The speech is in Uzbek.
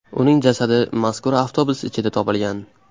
Uning jasadi mazkur avtobus ichidan topilgan.